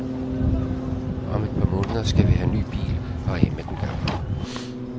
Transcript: Om et par måneder skal vi have ny bil og af med den gamle.